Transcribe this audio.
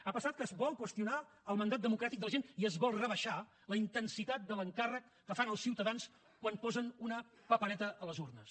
ha passat que es vol qüestionar el mandat democràtic de la gent i es vol rebaixar la intensitat de l’encàrrec que fan els ciutadans quan posen una papereta a les urnes